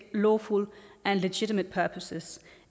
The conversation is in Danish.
lawful and legitimate purposes